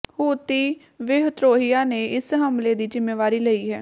ਹੂਤੀ ਵਿਧ੍ਰੋਹੀਆਂ ਨੇ ਇਸ ਹਮਲੇ ਦੀ ਜ਼ਿੰਮੇਵਾਰੀ ਲਈ ਹੈ